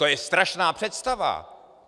To je strašná představa.